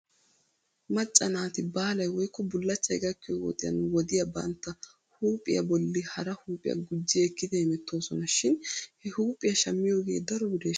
Macca naati baalay woykko bullachchay gakkiyoo wodiyan wodiya bantta huuphphiyaa bolli hara huuphphiyaa gujji ekkidi hemettoosona shin he huuphphiyaa shammiyoogee daro bireeshsha?